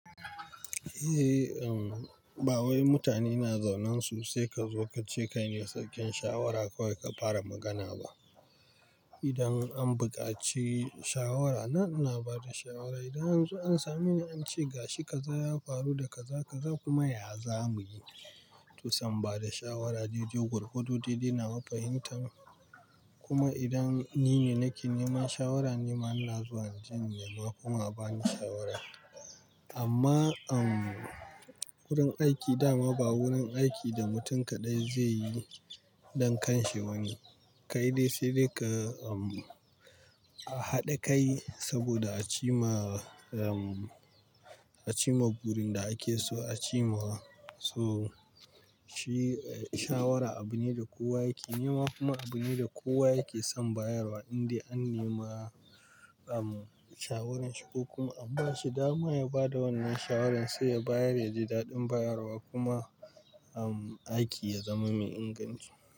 Eh, ba wai mutane na zaunansu sai ka zo ka ce kai ne sarkin shawara kawai ka fara magana ba. Idan an buƙaci shawara, nan ina bada shawara. Idan an zo an same ni an ce gashi kaza ya faru da kaza, kaza kuma ya zamuyi. To sai in bada shawara dai-dai, gwargwado dai-dai nawa fahimtan. Kuma idan ni ne nake neman shawara, nima ina zuwa inje in nema kuma a bani shawara. Amma wurin aiki dama ba wurin aiki da mutum kaɗai zai yi dan kanshi bane. Kai dai sai dai ka haɗa kai saboda a ci ma, a cimma burin da ake so a ci mawa. So shi shawara abu ne da kowa yake nema kuma abu ne da kowa yake son bayarwa. Inde an nema shawaran shi ko kuma an ba shi, dama ya bada wannan shawarar sai ya bayar yaji daɗin bayarwa kuma aiki ya zama mai inganci.